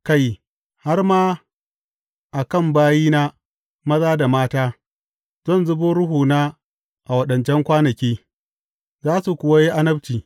Kai, har ma a kan bayina, maza da mata, zan zubo Ruhuna a waɗancan kwanaki, za su kuwa yi annabci.